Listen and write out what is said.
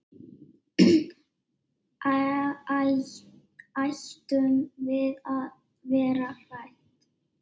Ættum við að vera hrædd?